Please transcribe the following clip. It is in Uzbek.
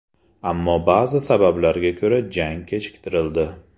Ammo ba’zi sabablarga ko‘ra jang kechiktirildi.